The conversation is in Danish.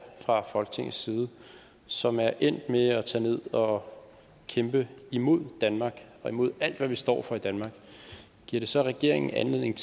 fra folketingets side og som er endt med at tage ned og kæmpe imod danmark og imod alt hvad vi står for i danmark giver det så regeringen anledning